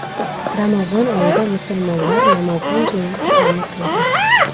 Ramazon oyida musulmonlar namozdan keyin Qur’onni o‘qiydi.